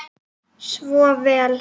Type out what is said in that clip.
Svo vel.